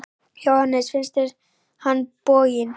Jóhannes: Finnst þér hann boginn?